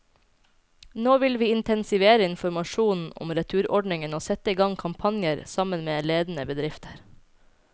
Nå vil vi intensivere informasjonen om returordningen og sette i gang kampanjer, sammen med ledende bedrifter.